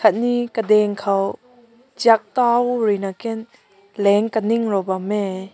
me kadaing kaw chek kaw rui na ken len kaning bam meh.